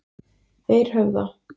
Eirhöfða